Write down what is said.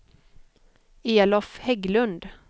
Elof Hägglund